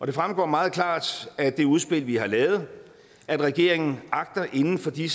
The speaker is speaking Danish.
det fremgår meget klart af det udspil vi har lavet at regeringen inden for de